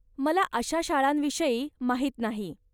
मला अशा शाळांविषयी माहीत नाही.